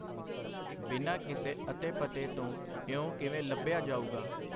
ਬਿਨਾਂ ਕਿਸੇ ਅਤੇ ਪਤੇ ਤੋਂ ਇਉਂ ਕਿਵੇਂ ਲੱਭਿਆ ਜਾਊਗਾ.